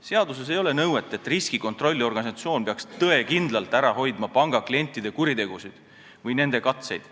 Seaduses ei ole nõuet, et riskikontrolli organisatsioon peaks tõekindlalt ära hoidma pangaklientide kuritegusid või nende katseid.